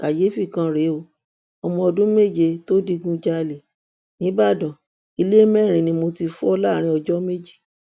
kàyééfì kan rèé o ọmọ ọdún méje tó digunjalè nígbàdàn ilé mẹrin ni mo ti fọ láàrin ọjọ méjì